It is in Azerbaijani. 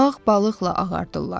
Ağ balıqla ağardırlar.